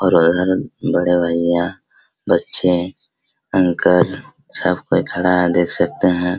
और उधर बड़े भैया बच्चे अंकल सब कोई खड़ा है देख सकते हैं।